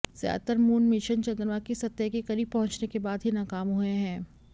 ज़्यादातर moon mission चन्द्रमा की सतह के क़रीब पहुँचने के बाद ही नाकाम हुए हैं